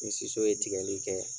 Ni siso ye tigɛli kɛ.